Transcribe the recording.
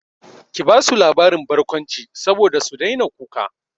Ki basu labarin barkwanci saboda su daina kuka!